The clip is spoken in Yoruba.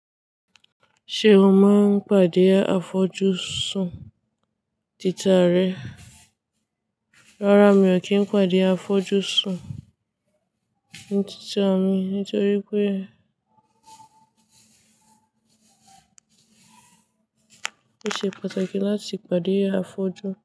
Ṣé o máa ń pàdé afọ́jú sùn títà rẹ? Rárá mi ò kí ń pàdé afọ́jú sùn títà mi nítorí pé ó ṣe pàtàkì láti pàdé afọ́jú.